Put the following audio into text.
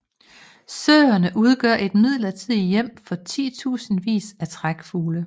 Søerne udgør et midlertidigt hjem for titusindvis af trækfugle